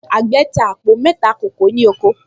Àgbẹ̀̀ ta àpò mẹ́ta kókò ní oko